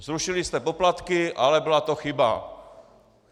Zrušili jste poplatky, ale byla to chyba.